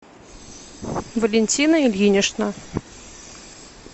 валентина ильинична